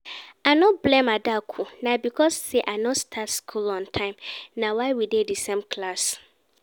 I no blame Adaku, na because say I no start school on time, na why we dey the same class